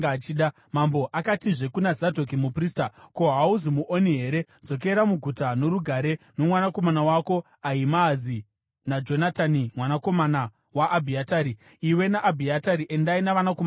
Mambo akatizve kuna Zadhoki muprista, “Ko, hauzi muoni here? Dzokera muguta norugare, nomwanakomana wako Ahimaazi naJonatani mwanakomana waAbhiatari. Iwe naAbhiatari, endai navanakomana venyu.